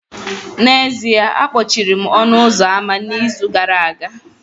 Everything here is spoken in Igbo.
N'ezie, akpọchiri m ọnụ ụzọ ámá n'izu gara aga